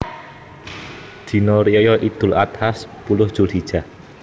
Dina Riyaya Idul Adha sepuluh Zulhijjah